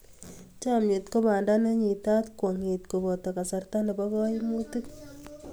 Chomnyet ko banda ne nyitaat kwong'eet koboto kasarta nebo kaimutiik.